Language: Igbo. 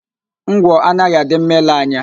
Ngwọ anaghị adị mma ìlè anya